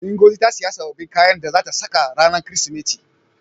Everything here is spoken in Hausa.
Ngozi ta siyo sababbin kayan da zata saka ranar Kirsimeti.